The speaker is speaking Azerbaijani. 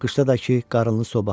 Qışda da ki, qarınlı soba.